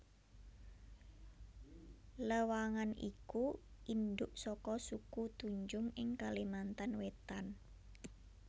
Lewangan iku indhuk saka suku Tunjung ing Kalimantan Wétan